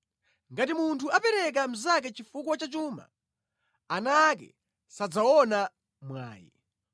Ngati munthu apereka mnzake chifukwa cha chuma, ana ake sadzaona mwayi.